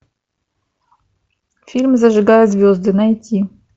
фильм зажигая звезды найти